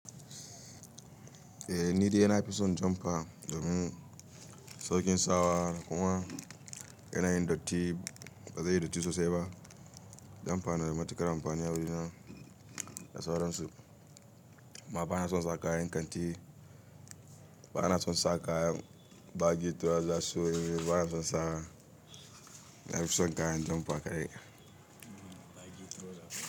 Eh ni dai ina fison jumper domin saukin sawa kuma yana yin datti, bazai yi datti sosai ba. Jumper na da matuƙar amfani a wurina da sauransu. Amma bana son saka kayan kanti, bana son sa kayan bagi toisa, bana son sa. Na fison kayan jumfa kaɗai.